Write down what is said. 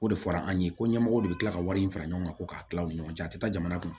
O de fɔra an ye ko ɲɛmɔgɔ de bɛ kila ka wari in fara ɲɔgɔn kan ko k'a tila u ni ɲɔgɔn cɛ a tɛ taa jamana kɔnɔ